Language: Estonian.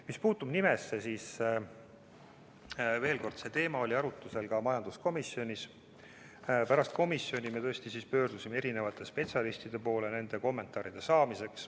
Mis puutub nimesse, siis veel kord: see teema oli arutusel ka majanduskomisjonis ja pärast komisjoni arutelu me tõesti pöördusime erinevate spetsialistide poole kommentaaride saamiseks.